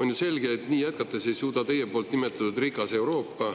On ju selge, et nii jätkates ei saa teie nimetatud rikas Euroopa